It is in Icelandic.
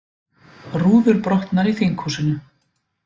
Rúður brotnar í þinghúsinu